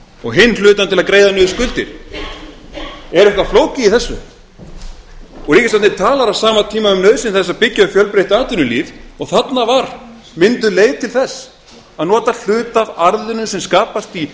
og hinn hlutann til að greiða niður skuldir er eitthvað flókið í þessu og ríkisstjórnin talar á sama tíma um nauðsyn þess að byggja upp fjölbreytt atvinnulíf og þarna var mynduð leið til þess að nota hluta af arðinum sem skapast í